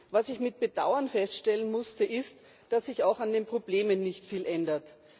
Was ich mit Bedauern feststellen musste, ist, dass sich auch an den Problemen nicht viel ändert.